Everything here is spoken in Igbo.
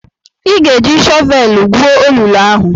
Ị ga-eji shọvelụ gwuo olulu ahụ!